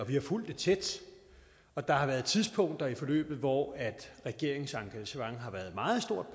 vi har fulgt det tæt og der har været tidspunkter i forløbet hvor regeringens engagement har været meget stort